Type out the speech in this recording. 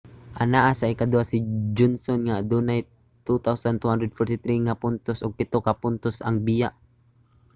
anaa sa ikaduha si johnson nga adunay 2,243 nga puntos ug pito ka puntos ang biya